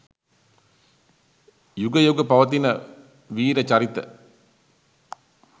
යුග යුග පවතින වීර චරිත